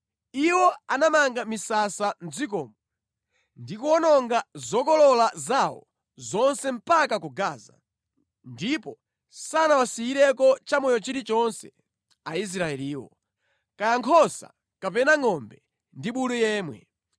Iwo anamanga misasa mʼdzikomo ndi kuwononga zokolola zawo zonse mpaka ku Gaza, ndipo sanawasiyireko chamoyo chilichonse Aisraeliwo, kaya nkhosa kapena ngʼombe ndi bulu yemwe.